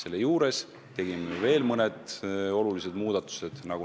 Ja me tegime veel mõned olulised muudatused.